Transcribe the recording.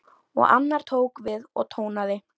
Og annar tók við og tónaði: